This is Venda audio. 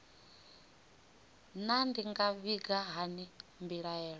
naa ndi nga vhiga hani mbilaelo